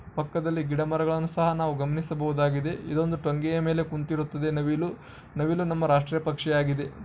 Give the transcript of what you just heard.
ಪಕ್ಕದಲ್ಲಿ ಗಿಡ ಮರಗಳನ್ನು ಸಹ ನಾವು ಗಮನಿಸಬಹುದಾಗಿದೆ ಇದೊಂದು ತಂಗಿಯ ಮೇಲೆ ಕುಳಿತಿನಂತಿರುವ ನವಿಲುಗಳು ನವಿಲು ನಮ್ಮ ರಾಷ್ಟ್ರ ಪಕ್ಷಿಯಾಗಿದೆ.